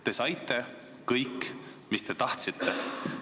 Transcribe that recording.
Te saite kõik, mis te tahtsite.